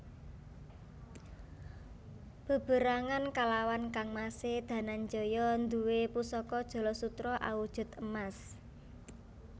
Beberangan kalawan kangmasé Dananjaya nduwé pusaka jala sutra awujud emas